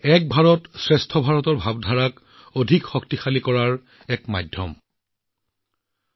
মোৰ পৰিয়ালৰ সদস্যসকল এক ভাৰত শ্ৰেষ্ঠ ভাৰতৰ অনুভূতি গভীৰ কৰাৰ অন্যতম শ্ৰেষ্ঠ মাধ্যম হৈছে আমাৰ সাহিত্য